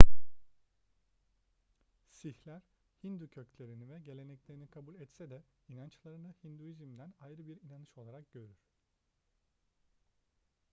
sihler hindu köklerini ve geleneklerini kabul etse de inançlarını hinduizm'den ayrı bir inanış olarak görür